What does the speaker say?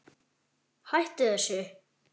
Hættu þessu.